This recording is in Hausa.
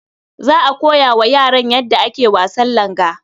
Za a koya wa yaran yadda ake wasan langa.